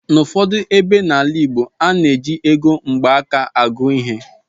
N'ụfọdụ ebe n'ala igbo, a na-eji ego mgbaaka agụ ihe